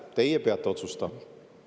Teie peate otsustama.